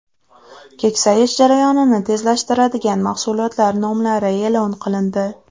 Keksayish jarayonini tezlashtiradigan mahsulotlar nomlari e’lon qilindi.